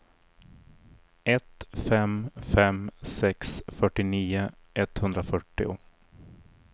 ett fem fem sex fyrtionio etthundrafyrtio